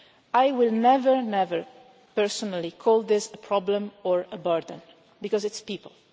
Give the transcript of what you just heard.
I will never, never personally call this a problem or a burden, because it is people.